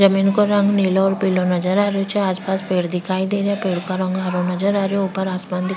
जमीन को रंग नीलो और पिलो नजर आ रही छे आस पास पेड़ दिखाई दे रिया पेड़ का रंग हरा नजर आ रयो ऊपर आसमान --